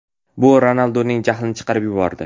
Bu Ronalduning jahlini chiqarib yubordi.